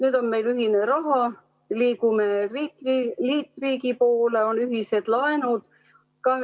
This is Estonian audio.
Nüüd on meil ühine raha, me liigume liitriigi poole, on ühised laenud.